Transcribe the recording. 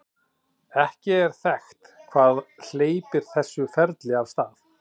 ekki er þekkt hvað hleypir þessu ferli af stað